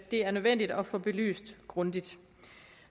er nødvendigt at få belyst grundigt